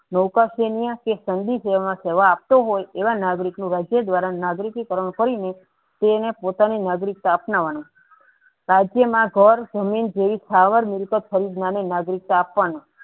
આપતો હોય એવા નાગરિકઓ ને રાજ્ય દ્વારા નાગરિકી કારણ કરીને તેના પોતાની નાગરિકતા અપનાવાની રાજ્યમાં જળ જમીન જેવી સ્થાયર મિલકત ખરીદવાની નાગરિકતા અપનાવી